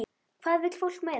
Hvað vill fólk meira?